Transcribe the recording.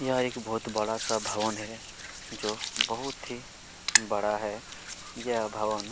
ये एक बहुत बड़ा-सा भवन है जो बहुत ही बड़ा है ये भवन--